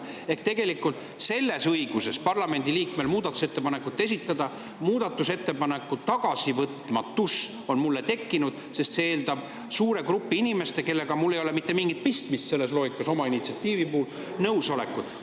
Ehk tegelikult on parlamendi liikmel õigus muudatusettepanekuid esitada, aga mul on tekkinud muudatusettepaneku tagasivõtmatus, sest see eeldab suure grupi inimeste, kellega mul ei ole selles loogikas oma initsiatiivi puhul mitte mingit pistmist, nõusolekut.